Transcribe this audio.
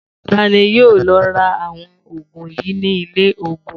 Ta ni yóò lọ ra àwọn òògùn yìí ní ilé-òògùn?